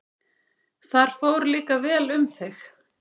Þar fór líka vel um þig.